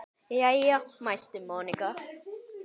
Jæja mælti Monika.